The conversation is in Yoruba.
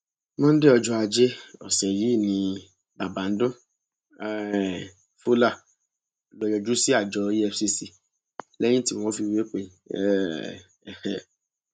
monde ọjọ ajé ọsẹ yìí ni bàbáńdún um fowler lọọ yọjú sí àjọ efcc lẹyìn tí wọn fìwé pè é um